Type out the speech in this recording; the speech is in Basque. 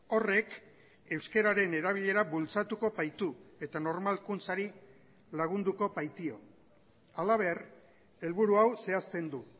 horrek euskararen erabilera bultzatuko baitu eta normalkuntzari lagunduko baitio halaber helburu hau zehazten du